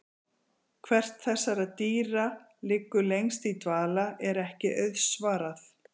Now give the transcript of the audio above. Hvert þessara dýra liggur lengst í dvala er ekki auðsvarað.